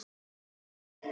Og orðið varð hold.